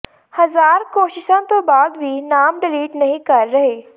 ਹਜਾਰ ਕੋਸ਼ਿਸ਼ਾ ਤੋਂ ਬਾਦ ਵੀ ਨਾਮ ਡਲੀਟ ਨਹੀਂ ਕਰ ਰਹੇ